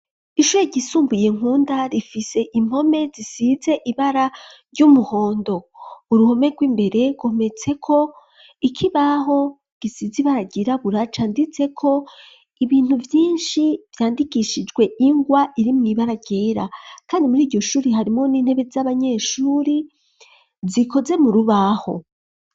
Ishure ryisumbuye nkunda rifise impome zisize ibara ry'umuhondo uruhome rw'imbere ryometse ko ikibaho gisize ibara ryirabura canditse ko ibintu vyishi vyandikishijwe ingwa iri mw'ibara ryera kandi muriryo shuri harimwo n'intebe z'abanyeshuri zikoze mu rubaho.